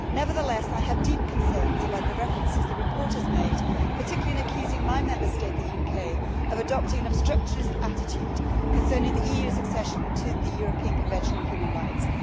Nevertheless, I have deep concerns about the references the report has made, particularly in accusing my Member State the UK of adopting an obstructionist attitude concerning the EU's accession to the European Convention on Human Rights.